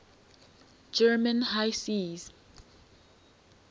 german high seas